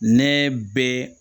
Ne bɛ